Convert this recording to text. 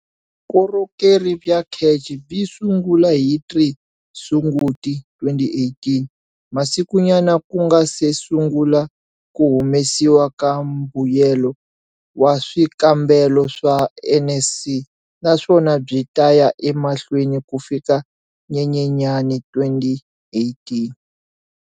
Vukorhokeri bya CACH byi sungula hi 3 Sunguti 2018, masikunyana ku nga se sungula ku humesiwa ka mbuyelo wa swikambelo swa NSC naswona byi ta ya emahlweni ku fika Nyenyenyani 2018.